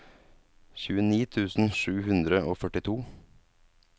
tjueni tusen sju hundre og førtito